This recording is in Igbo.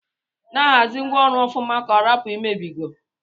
Na ahazi ngwa ọrụ ọfụma ka ọrapu imebigo.